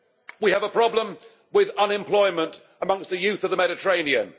We have a problem with unemployment among the youth of the Mediterranean.